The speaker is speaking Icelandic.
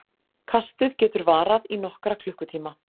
Kastið getur varað í nokkra klukkutíma.